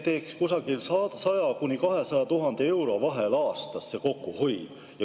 See kokkuhoid oleks 100 000 ja 200 000 euro vahel aastas.